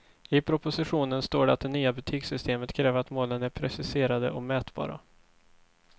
I propositionen står det att det nya betygssystemet kräver att målen är preciserade och mätbara.